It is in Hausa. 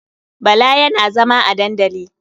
Bala yana zama a dandali.